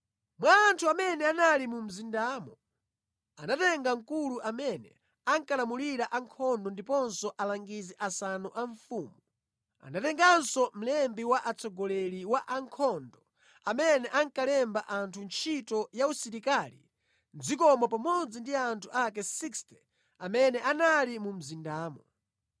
Mwa anthu amene anali mu mzindamo, anatenga mkulu amene ankalamulira ankhondo ndiponso alangizi asanu a mfumu. Anatenganso mlembi wa mtsogoleri wa ankhondo amene ankalemba anthu ntchito ya usilikali mʼdzikomo pamodzi ndi anthu ake 60 amene anali mu mzindamo.